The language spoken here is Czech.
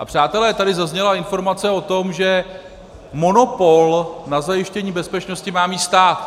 A přátelé, tady zazněla informace o tom, že monopol na zajištění bezpečnosti má mít stát.